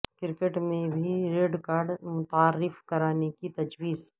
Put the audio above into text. cricket میں بھی red card متعارف کرانے کی تجویز